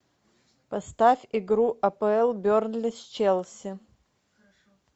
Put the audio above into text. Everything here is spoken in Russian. поставь игру апл бернли с челси